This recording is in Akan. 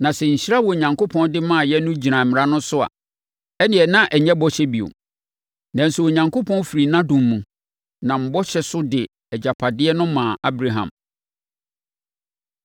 Na sɛ nhyira a Onyankopɔn de maaeɛ no gyina Mmara so a, ɛnneɛ na ɛnyɛ bɔhyɛ bio. Nanso Onyankopɔn firi nʼadom mu, nam bɔhyɛ so de agyapadeɛ no maa Abraham.